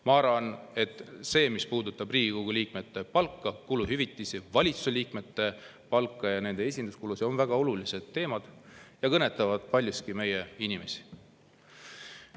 Ma arvan, et teemad, mis puudutavad Riigikogu liikmete palka, kuluhüvitisi, valitsuse liikmete palka ja nende esinduskulusid, on väga olulised ja kõnetavad paljuski meie inimesi.